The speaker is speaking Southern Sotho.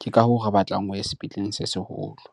Ke ka hoo re batlang o ye sepetleleng se seholo.